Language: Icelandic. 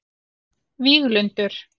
Víglundur